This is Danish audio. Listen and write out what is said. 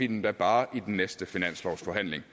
dem da bare i den næste finanslovsforhandling